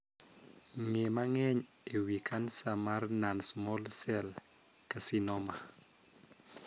Ng'ee mang'eny e wii kansa mar 'non small cell carcinoma'.